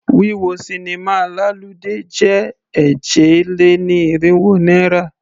Wíwọ sinimá lálùdé jẹ́ èje-lé-ní-irínwó náírà.